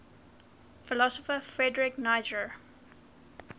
philosopher friedrich nietzsche